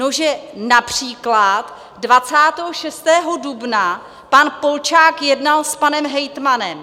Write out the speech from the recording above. No, že například 26. dubna pan Polčák jednal s panem hejtmanem.